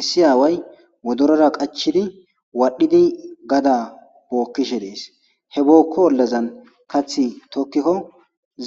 issi aaway modorora qachidi waadhdhidi gada bookkishe dies he bookko ollazan kathi tokkikko